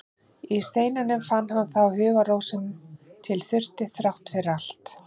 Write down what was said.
Í steininum fann hann þá hugarró sem til þurfti, þrátt fyrir allt.